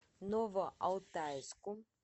новоалтайску